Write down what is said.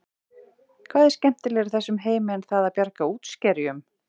Hvað er skemmtilegra í þessum heimi en það að bjarga útskerjum?